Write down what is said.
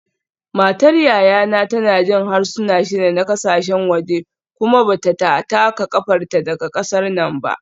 Matar yayana tana jin harsuna shida na kasashen waje kuma ba ta taka kafarta daga kasar nan ba